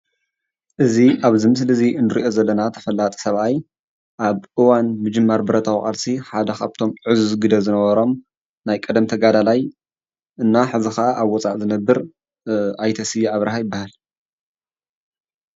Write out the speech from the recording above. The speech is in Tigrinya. እዚ ኣብዚ ምስሊ ዚ እንርእዮ ዘለና ተፈላጢ ሰብኣይ ኣብ እዋን ምጅማር ብረታዊ ቃልሲ ሓደ ካብቶም ዕዙዝ ግደ ዝነበሮም ናይ ቀደም ተጋዳላይ እና ሕጂ ኣብ ወፃእ ዝነብር ኣይተ ስየ ኣብርሃ ይብሃል፡፡